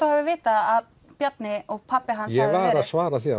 þú hafir vitað að Bjarni og pabbi hans ég var að svara því